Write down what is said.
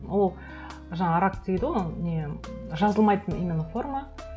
ол жаңа рак дейді ғой ол не жазылмайтын именно форма